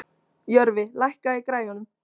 Jörfi, lækkaðu í græjunum.